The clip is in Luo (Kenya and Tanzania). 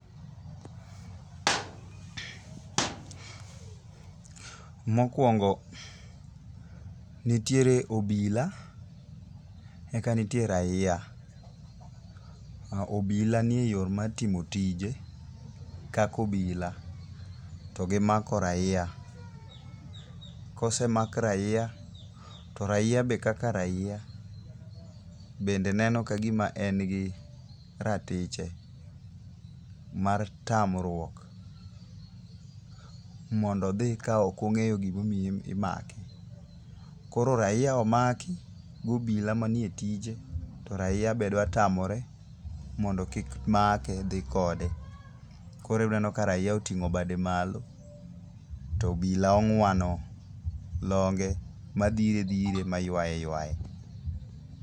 Mokwongo nitiere obila, eka nitie raia. Obila nie yo mar timo tije kaka obila to gimako raia. Kosemak raia, to raia be kaka raia, bende neno ka gima en gi ratiche mar tamruok mondo odhi ka ok ong'eyo gimomiyo imake. Koro raia omaki gi obila manie tije, to raia bende dwa tamore mondo kik make dhi kode. Koro uneno ka raia oting'o bade malo, to obila ong'wano longe, madhire dhire, maywaye ywaye.